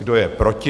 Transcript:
Kdo je proti?